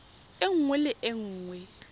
e nngwe le e nngwe